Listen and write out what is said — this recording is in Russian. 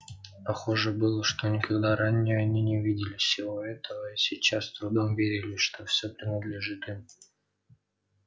похоже было что никогда ранее они не видели всего этого и сейчас с трудом верили что все принадлежит им